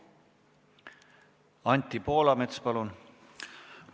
Anti Poolamets, palun!